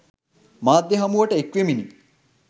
මාධ්‍ය හමුවට එක්වෙමිනි.